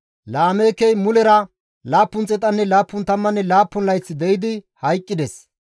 Laameekey mulera 777 layth de7idi hayqqides.